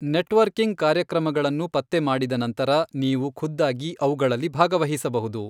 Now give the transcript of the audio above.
Networking ಕಾರ್ಯಕ್ರಮಗಳನ್ನು ಪತ್ತೆಮಾಡಿದ ನಂತರ, ನೀವು ಖುದ್ದಾಗಿ ಅವುಗಳಲ್ಲಿ ಭಾಗವಹಿಸಬಹುದು.